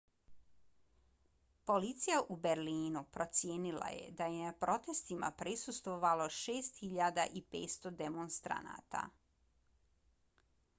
policija u berlinu procijenila je da je na protestima prisustvovalo 6.500 demonstranata